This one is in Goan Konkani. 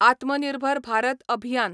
आत्मनिर्भर भारत अभियान